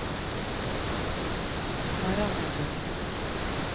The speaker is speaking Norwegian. Varangerbotn